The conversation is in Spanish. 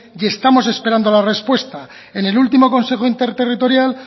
y estamos esperando la respuesta en el último consejo interterritorial